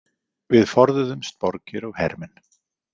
Við forðuðumst borgir og hermenn.